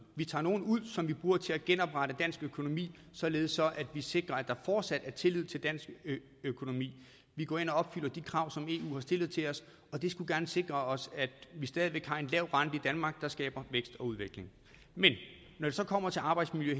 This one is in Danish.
vi tager nogle ud som vi bruger til at genoprette dansk økonomi således at vi sikrer at der fortsat er tillid til dansk økonomi vi går ind og opfylder de krav som eu har stillet til os og det skulle gerne sikre os at vi stadig væk har en lav rente i danmark der skaber vækst og udvikling men når det så kommer til arbejdsmiljø